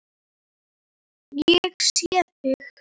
Ég sé þig.